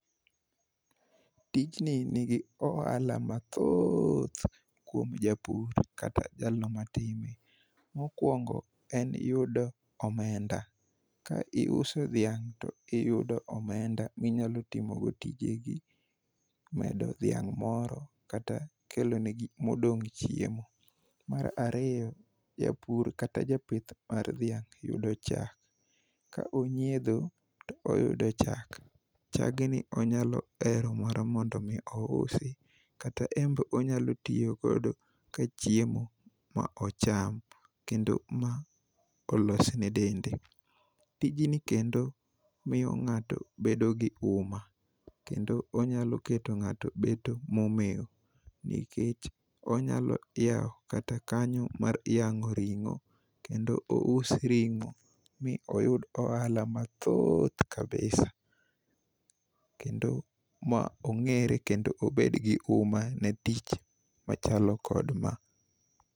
Tijni nigi ohala mathoth kuom japur kata jalno matime. Mokwongo en yudo omenda. Ka iuso dhiang' to iyudo omenda minyalo timogoi tijegi, medo dhiang' moro kata kelonegi modong' chiemo. Mar ariyo, japur kata japith mar dhiang' yudo chak. Ka onyiedho to oyudo chak, chagni onyalo hero mar mondo omi ousi kata embe onyalo riyogodo ka chiemo ma ocham kendo ma olosne dende. Tijni kendo miyo ng'ato bedo gi uma kendo onyalo keto ng'ato beto momew nikech onyalo yawo kata kanyo mar yang'o ringo' kendo ous ring'o mi oyud ohala mathoth kabisa kendo ma ong'ere kendo obed gi uma ne tich machalo kod ma.